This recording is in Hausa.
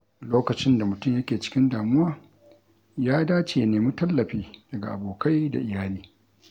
Lokacin da mutum yake cikin damuwa, ya dace ya nemi tallafi daga abokai da iyali.